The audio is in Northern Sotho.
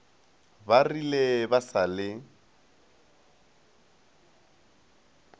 ba rile ba sa le